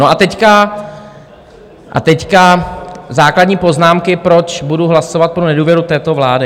No a teď základní poznámky, proč budu hlasovat pro nedůvěru této vlády.